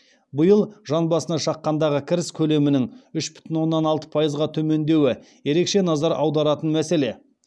биыл жан басына шаққандағы кіріс көлемінің үш бүтін оннан алты пайызға төмендеуі ерекше назар аударатын мәселе